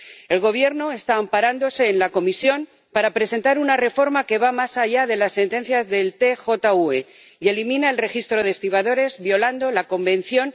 El Gobierno está amparándose en la Comisión para presentar una reforma que va más allá de la sentencia del TJUE y elimina el registro de estibadores, violando el Convenio n.º